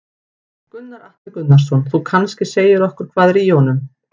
Gunnar Atli Gunnarsson: Þú kannski segir okkur hvað er í honum?